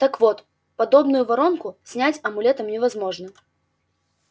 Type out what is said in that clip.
так вот подобную воронку снять амулетом невозможно